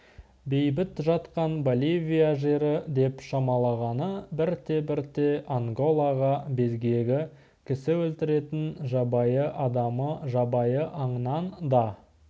бейбіт жатқан боливия жері деп шамалағаны бірте-бірте анголаға безгегі кісі өлтіретін жабайы адамы жабайы аңнан да